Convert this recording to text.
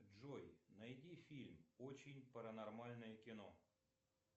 джой найди фильм очень паранормальное кино